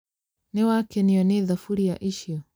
Nĩ wakenio nĩ thaburia icio?